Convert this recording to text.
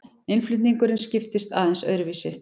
Innflutningurinn skiptist aðeins öðruvísi.